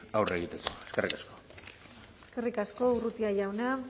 aurre egiteko eskerrik asko eskerrik asko urrutia jauna